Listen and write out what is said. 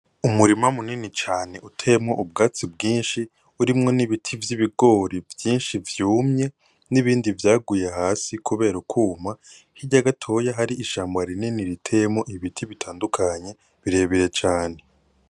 Umurima munini cane uteyemwo ubwatsi bwinshi urimwo n'ibiti vy'ibigori vyinshi vyumye n'ibindi vyaguye hasi kubera ukuma, hirya gatoya hari ishamba rinini riteyemwo ibiti bitandukanye birebire cane.